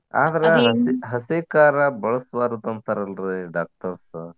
ಹಸಿ ಕಾರಾ ಬಳಸ್ಬಾರ್ದು ಅಂತಾರಲ್ರಿ doctors .